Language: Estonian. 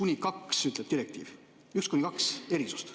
Nii ütleb direktiiv, üks kuni kaks erisust.